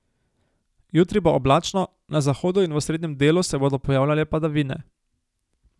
Jutri bo oblačno, na zahodu in v osrednjem delu se bodo pojavljale padavine.